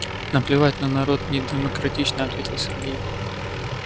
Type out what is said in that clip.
наплевать на народ недемократично ответил сергей